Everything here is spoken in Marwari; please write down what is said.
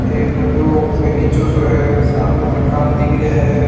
एक बढो बगीचों सो है सामने मकान दिख रिया है।